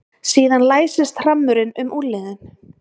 Síðan læstist hrammurinn um úlnliðinn.